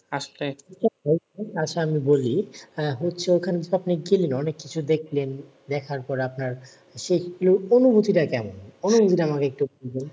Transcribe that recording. আচ্ছা আসা আমি বলি, আহ হচ্ছে ওখানে তো আপনি ছিলেন অনেক কিছু দেখলেন। দেখার পর আপনার সেই অনুভূতি টা কেমন? অনুভুতি টা আমাকে একটু বলুন?